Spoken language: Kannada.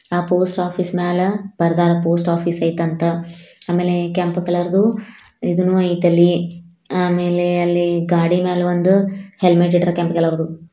ಆ ಪೋಸ್ಟ್ ಆಫೀಸ್ ಮೇಲೆ ಬರದಾರೆ ಪೋಸ್ಟ್ ಆಫೀಸ್ ಐತ್ ಅಂತ ಆಮೇಲೆ ಕೆಂಪು ಕಲರ್ ದು ಇದೂನು ಐತ್ ಅಲ್ಲಿ ಆಮೇಲೆ ಅಲ್ಲಿ ಗಾಡಿ ಮೇಲ್ ಒಂದು ಹೆಲ್ಮೆಟ್ ಇಟ್ಟಾರೆ ಕೆಂಪು ಕಲರ್ ದು.